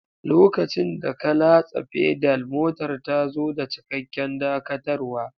Lokacin da ka latsa Pedal, motar ta zo da cikakken dakatarwa.